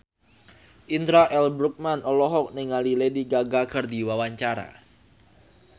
Indra L. Bruggman olohok ningali Lady Gaga keur diwawancara